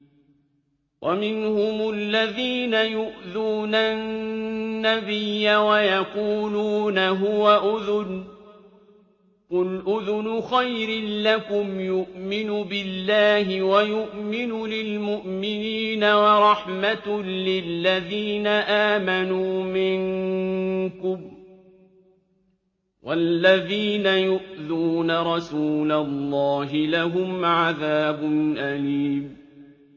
وَمِنْهُمُ الَّذِينَ يُؤْذُونَ النَّبِيَّ وَيَقُولُونَ هُوَ أُذُنٌ ۚ قُلْ أُذُنُ خَيْرٍ لَّكُمْ يُؤْمِنُ بِاللَّهِ وَيُؤْمِنُ لِلْمُؤْمِنِينَ وَرَحْمَةٌ لِّلَّذِينَ آمَنُوا مِنكُمْ ۚ وَالَّذِينَ يُؤْذُونَ رَسُولَ اللَّهِ لَهُمْ عَذَابٌ أَلِيمٌ